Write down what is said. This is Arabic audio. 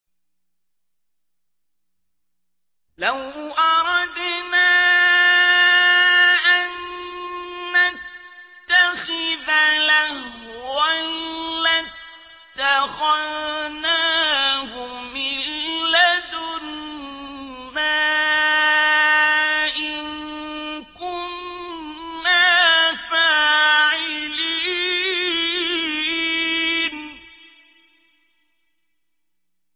لَوْ أَرَدْنَا أَن نَّتَّخِذَ لَهْوًا لَّاتَّخَذْنَاهُ مِن لَّدُنَّا إِن كُنَّا فَاعِلِينَ